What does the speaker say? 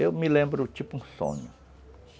Eu me lembro tipo um sonho.